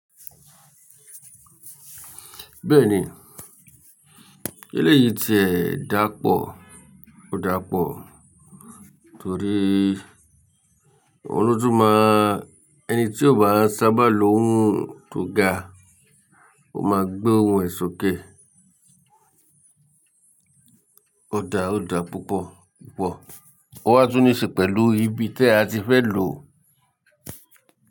Bẹ́ẹ̀ni eléyìí ti ẹ̀ dàpọ̀, ó dàpọ̀ torí oló tun má, ẹni tí ó bá sábà lo ohun tó ga, ó máa gbé ohun èṣó ké. Ó dà, ó dà púpọ̀ púpọ̀. Ó wá tún ní ṣe pẹ̀lú ibi tí a ti fẹ́ lò.